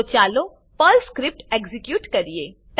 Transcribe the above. તો ચાલો Perl script execute કરીએ